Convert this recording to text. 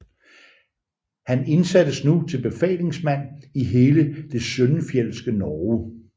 Han indsattes nu til befalingsmand i hele det søndenfjeldske Norge